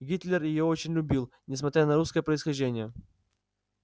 гитлер её очень любил несмотря на русское происхождение